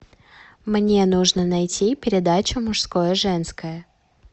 мне нужно найти передачу мужское женское